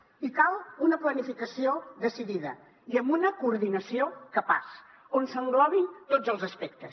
i cal una planificació decidida i amb una coordinació capaç on s’englobin tots els aspectes